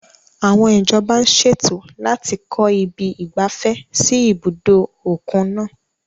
Àwọn ìjọba ń ṣètò láti kọ ibi ìgbafẹ́ sí ibùdó òkun náà.